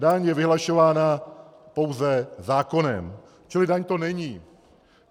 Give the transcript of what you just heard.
Daň je vyhlašována pouze zákonem, čili daň to není.